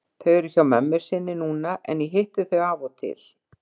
Þau eru hjá mömmu sinni núna en ég hitti þau af og til.